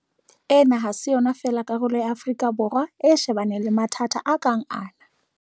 Ena ha se yona fela karolo ya Afrika Borwa e shebaneng le mathata a kang ana.